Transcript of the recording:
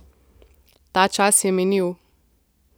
Ta čas je minil.